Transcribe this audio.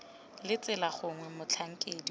la tsela gongwe motlhankedi wa